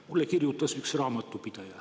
Mulle kirjutas üks raamatupidaja.